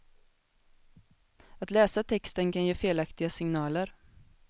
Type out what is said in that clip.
Att läsa texten kan ge felaktiga signaler.